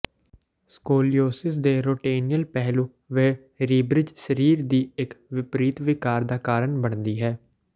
scoliosis ਦੇ ਰੋਟੇਨਿਅਲ ਪਹਿਲੂ ਵਹਿ ਰੀਬ੍ਰਿਜ ਸਰੀਰ ਦੀ ਇੱਕ ਵਿਪਰੀਤ ਵਿਕਾਰ ਦਾ ਕਾਰਨ ਬਣਦੀ ਹੈ